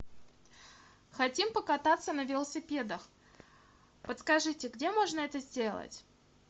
хотим покататься на велосипедах подскажите где можно это сделать